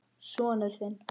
Sonur þinn.